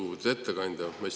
Lugupeetud ettekandja!